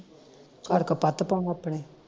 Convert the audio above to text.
ਘਰ ਕੁਪੱਤ ਪਾਊ ਆਪਣੇ